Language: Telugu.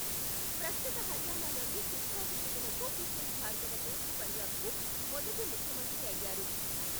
ప్రస్తుత హర్యానాలోని సిర్సాకు చెందిన గోపీ చంద్ భార్గవ తూర్పు పంజాబ్కు మొదటి ముఖ్యమంత్రి అయ్యారు.